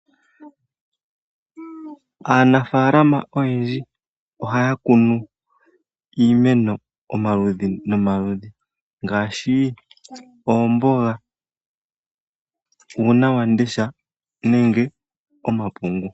Aanafalama oyendji ohaya kunu iimeno omaludhi nomaludhi, ngaashi oomboga, uuna wamundesha nenge omapungu.